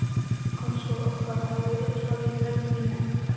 Kannski að orkan hafi öll farið í brennivínið.